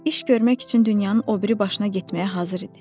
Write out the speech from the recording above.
İş görmək üçün dünyanın o biri başına getməyə hazır idi.